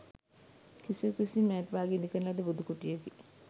කිසිවකු විසින් මෑත භාගයේ ඉදිකරන ලද බුදු කුටියකි.